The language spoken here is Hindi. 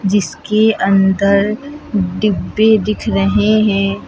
जिसके अंदर डिब्बे दिख रहे हैं।